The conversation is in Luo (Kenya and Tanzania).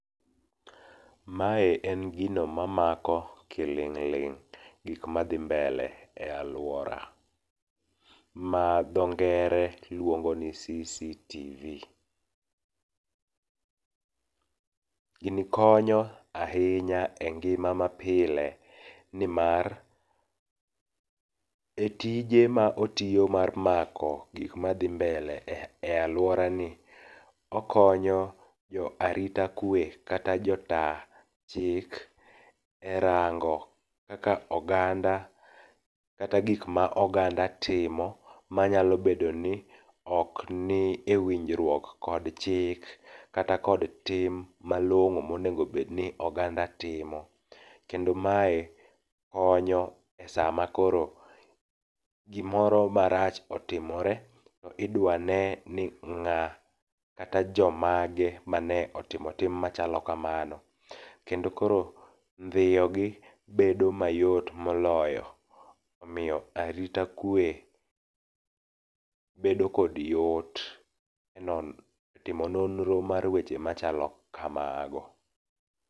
Mae en gino mamako kiling' ling' gik madhi mbele e aluora, ma dho ngere luongo ni CCTV. Gini konyo ahinya e ngima mapile nimar etije ma otiyo mar mako gik ma dhi mbele e aluorani, okonyo jo arita kwe kata jo ta chik erango kaka oganda kata gik ma oganda timo manyalo bedo ni ok ni ewinjruok kod chik kata kod tim malong'o monego bedni oganda timo. Kendo mae konyo esama koro gimoro marach otimore to idwa ne ning'a, kata jomage mane otimo tim machalo kamani. Kendo koro ndhiyogi bedo mayot. moloyo. Omiyo arita kwe bedo kod yot e timo nonro mar weche machalo kamago.